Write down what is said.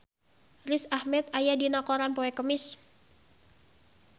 Riz Ahmed aya dina koran poe Kemis